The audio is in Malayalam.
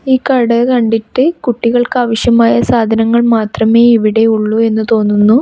ഈ കട കണ്ടിട്ട് കുട്ടികൾക്ക് ആവിശ്യമായ സാധനങ്ങൾ മാത്രമേ ഇവിടെ ഉള്ളു എന്ന് തോന്നുന്നു.